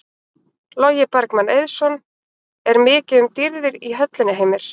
Logi Bergmann Eiðsson: Er ekki mikið um dýrðir í höllinni Heimir?